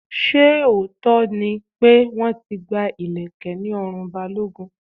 Ṣé lóòótọ́ ni pé wọ́n ti gba ileke ní ọrùn Balogun?